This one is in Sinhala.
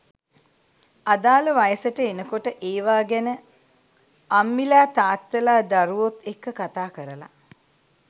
අදාල වයසට එනකොට ඒවා ගැන අම්ම්ලා තාත්තලා දරුවොත් එක්ක කතාකරලා